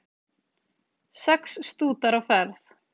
Sex stútar á ferð